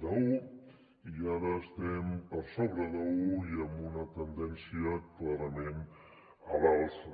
d’un i ara estem per sobre d’un i amb una tendència clarament a l’alça